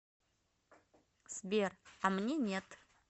сбер а мне нет